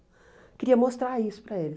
Eu queria mostrar isso para ele.